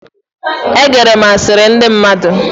E gere m asiri ndi mmadu